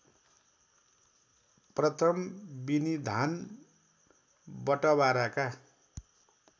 प्रथम विनिधान बटवाराका